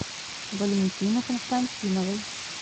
валентины константиновой